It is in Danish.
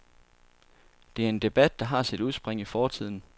Det er en debat, der har sit udspring i fortiden.